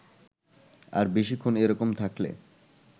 আর বেশিক্ষণ এ-রকম থাকলে